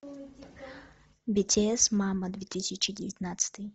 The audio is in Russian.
битиэс мама две тысячи девятнадцатый